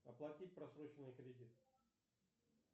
оплатить просроченный кредит